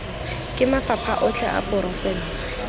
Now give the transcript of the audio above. ke mafapha otlhe a porofense